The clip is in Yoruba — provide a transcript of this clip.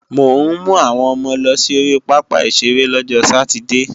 Mò ń mú àwọn ọmọ lọ sí ori pápá ìṣeré lọ́jọ sátidée